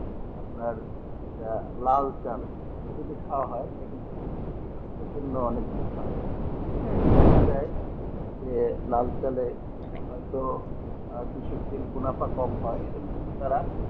আপনার যেটা লাল চাল এটা যদি খাওয়া হয় এটা কিন্তু অনেক ভালো দেখা যাই যে লাল চালে হয়তো আর কিছু ফির মুনাফা কম হয় কিন্তু তারা